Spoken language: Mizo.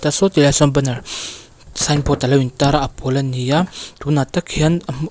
saw ti laiah sawn banner signboard a lo intar a a pawl an ni a tunah tak hian--